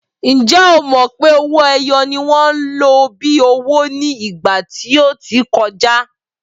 Ǹjẹ́ o mọ̀ pé owó-ẹyọ ni wọ́n lò bíi owó ní ìgbà tí ó ti kọjá?